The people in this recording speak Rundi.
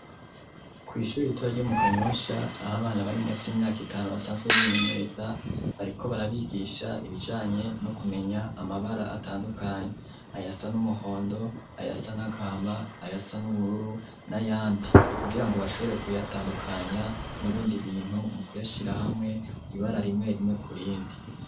Ku ishuri ritoyi ryo mu Kanyosha aho abana bari munsi y'imyaka itanu basanzwe bimenyereza bariko barabigisha ibijanye no kumenya amabara atandukanye ayasa n'umuhondo ayasa n'agahama ayasa n'ubururu n'ayandi kugirango bashobore kuyatandukanya n'ibindi bintu mu kuyashira hamwe ibara rimwe rimwe kurindi.